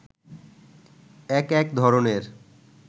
এক এক ধরণের